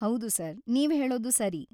ಹೌದು ಸರ್, ನೀವು ಹೇಳೋದು ಸರಿ.